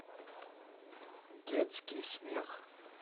детский смех